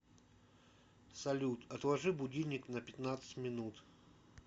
салют отложи будильник на пятнадцать минут